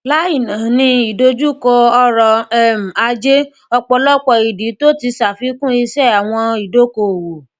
láì nani idojukọ ọrọ um ajé ọpọlọpọ ìdí tó ti ṣàfikún ise àwọn ìdókoowò